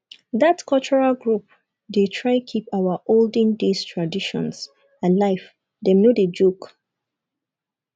dat cultural group dey try keep our olden days traditions alive dem no dey joke